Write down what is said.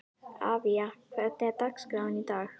Avía, hvernig er dagskráin í dag?